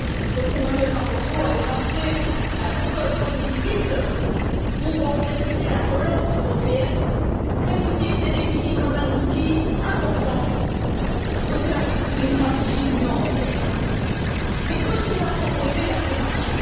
José Manuel Barroso avait lancée à l'automne 2008 pour organiser la relance européenne, cet outil était défini comme un outil important au service d'une stratégie de l'Union européenne. Mais que nous a proposé la Commission?